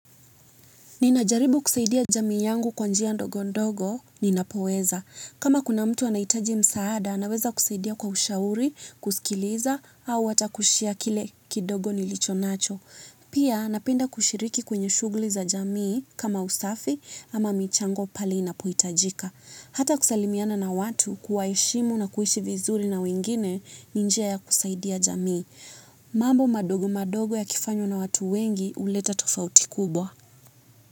Nina jaribu kusaidia jamii yangu kwa njia ndogo ndogo, ninapoweza. Kama kuna mtu anahitaji msaada, naweza kusaidia kwa ushauri, kusikiliza, au ata kushare kile kidogo nilicho nacho. Pia, napenda kushiriki kwenye shugli za jamii kama usafi ama michango pahali inapohitajika. Ata kusalimiana na watu, kuwaheshimu na kuishi vizuri na wengine, ni njia ya kusaidia jamii. Mambo madogo madogo yakifanywa na watu wengi, uleta tofauti kubwa.